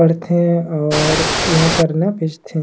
पढ़ थे और इहाँ करना बेच थे।